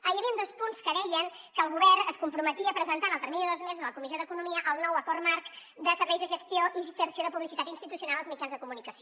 hi havien dos punts que deien que el govern es comprometia a presentar en el termini de dos mesos a la comissió d’economia el nou acord marc de serveis de gestió i inserció de publicitat institucional als mitjans de comunicació